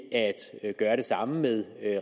at gøre det samme med